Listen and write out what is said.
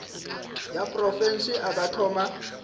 ya profense a ka thoma